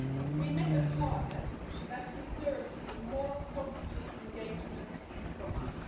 We met a partner that deserves a more positive engagement from us.